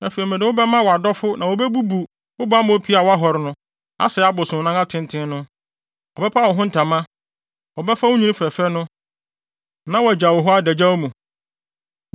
Afei mede wo bɛma wʼadɔfo na wobebubu bammɔ pie a woahɔre no, asɛe abosonnan atenten no. Wɔbɛpa wo ho ntama, wɔbɛfa wo nnwinne fɛfɛ no, na wɔagyaw wo hɔ adagyaw mu.